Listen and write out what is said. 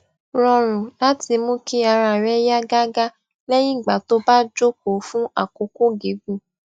rọrùn láti mú kí ara rè yá gágá leyin igbà tó bá jókòó fún àkókò gígùn